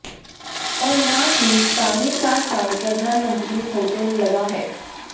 और ना ही साढ़े चार साल प्रधानमंत्री होते लगा है